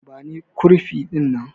Bani kurfi dinnan!